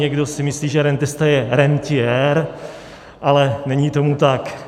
Někdo si myslí, že rentista je rentiér, ale není tomu tak.